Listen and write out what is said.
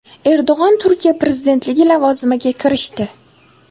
Erdo‘g‘on Turkiya prezidentligi lavozimiga kirishdi.